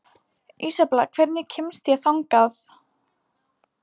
Ísabella, hvernig kemst ég þangað?